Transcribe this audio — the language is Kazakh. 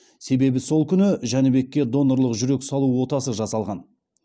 себебі сол күні жәнібекке донорлық жүрек салу отасы жасалған